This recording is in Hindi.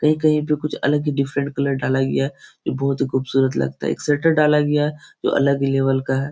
कहीं-कहीं पे कुछ अलग ही डिफरेंट कलर डाला गया है जो बहुत ही खूबसूरत लगता है एक शटर डाला गया है जो अलग ही लेवल का है।